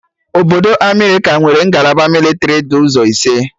Obodo Amerịka nwere ngalaba mịlịtrị dị ụzọ ise